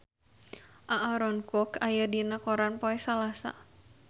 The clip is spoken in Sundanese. Aaron Kwok aya dina koran poe Salasa